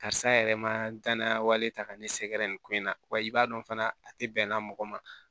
Karisa yɛrɛ ma danaya wale ta ka ne sɛgɛrɛ nin ko in na wa i b'a dɔn fana a tɛ bɛnna mɔgɔ ma